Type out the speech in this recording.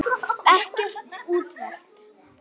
Ekkert útvarp.